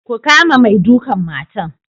Ku kama mai dukan matan.